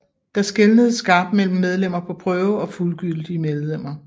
Der skelnedes skarpt mellem medlemmer på prøve og fuldgyldige medlemmer